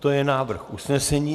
To je návrh usnesení.